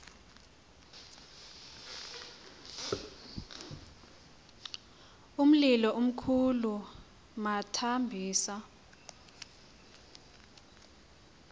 umlilo omkhulu bamthambisa